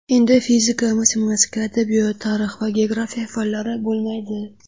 Endi fizika, matematika, adabiyot, tarix va geografiya fanlari bo‘lmaydi.